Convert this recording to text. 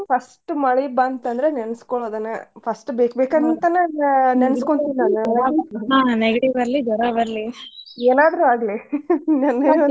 First ಮಳಿ ಬಂತಂದ್ರ ನೆನಸ್ಕೊಳುದನ first ಬೇಕ್ ಬೇಕಂತನ ನೆನಸ್ಕೊಂಡ್ ನೆಗಡಿ ಬರ್ಲಿ, ಜ್ವರ ಬರ್ಲಿ ಏನಾದ್ರು ಆಗ್ಲಿ.